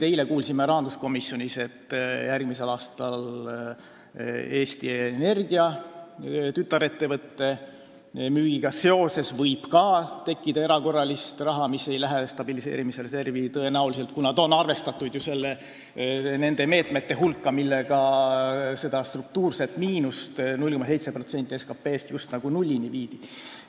Eile kuulsime rahanduskomisjonis, et järgmisel aastal võib Eesti Energia tütarettevõtte müügi tõttu ka tekkida erakorralist raha, mis ei lähe tõenäoliselt stabiliseerimisreservi, kuna see on arvestatud nende meetmete hulka, mille abil seda struktuurset miinust – 0,7% SKT-st – just nagu nullini viidi.